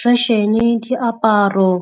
Fashion-e, diaparo,